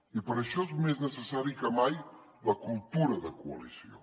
i per això és més necessari que mai la cultura de coalició